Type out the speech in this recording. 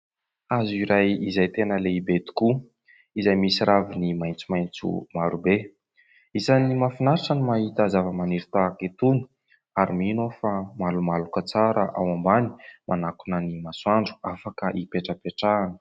Hazo iray izay tena lehibe tokoa, izay misy ravina maitsomaitso maro be. Isan'ny mafinaritra no mahita zava-maniry tahaka itony ary mino aho fa malomaloka tsara ao ambany manakona ny masoandro afaka hipetrapetrahana.